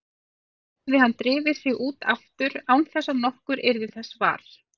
Síðan hefði hann drifið sig út aftur án þess að nokkur yrði þessa var.